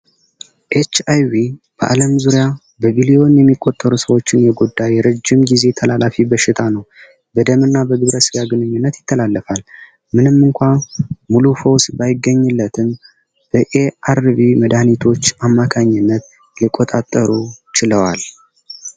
ኤችይቪ በዓለም ዙሪያ በቢሊዮን የሚቆጠሩ ሰዎችን የጎዳ የረጅም ጊዜ ተላላፊ በሽታ ነው። በደም እና በግብረስ ያግንኙነት ይተላለፋል ።ምንም እንኳን ሙሉ ፎስ ባይገኝለትን በአአርቪ መዳኒቶች አማካኝነት ሊቆጣጠሩ ችለዋል።